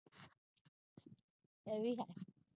ਏਹ ਵੀ ਹੈ